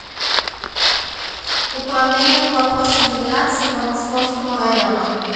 управления по вопросам миграции по московскому району